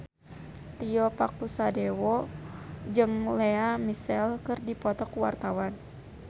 Tio Pakusadewo jeung Lea Michele keur dipoto ku wartawan